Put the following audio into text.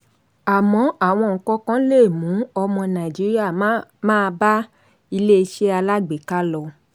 àmọ́ àwọn nǹkankan lè mú ọmọ nàìjíríà máa bá iléeṣẹ́ alágbèéká lọ.